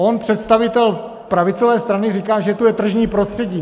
On, představitel pravicové strany, říká, že tu je tržní prostředí.